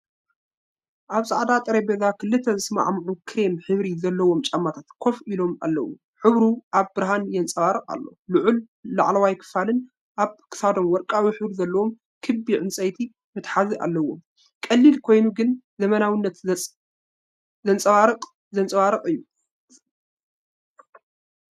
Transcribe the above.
ኣብ ጻዕዳ ጠረጴዛ፡ ክልተ ዝሰማምዑ ክሬም ሕብሪ ዘለዎም ጫማታት ኮፍ ኢሎም ኣለዉ። ሕብሩ ኣብ ብርሃን ይንጸባረቕ ኣሎ፡ ልዑል ላዕለዋይ ክፋልን ኣብ ክሳዶም ወርቃዊ ሕብሪ ዘለዎ ክቢ ዕንጨይቲ መትሓዚን ኣለዎ። ቀሊል ኮይኑ ግን ዘመናዊነትን ጽባቐን ዘንጸባርቕ እዩ።